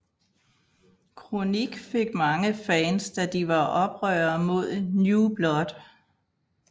KroniK fik mange fans da de var oprørere mod New Blood